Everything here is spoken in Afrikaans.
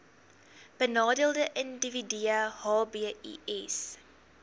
benadeelde individue hbis